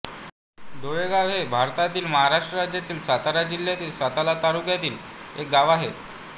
डोळेगाव हे भारतातील महाराष्ट्र राज्यातील सातारा जिल्ह्यातील सातारा तालुक्यातील एक गाव आहे